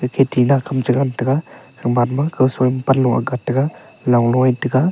eke tina kam chengan taga gaman ma son panlo agat taga langlo agat taga.